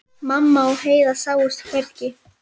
Mamma og Heiða sáust hvergi.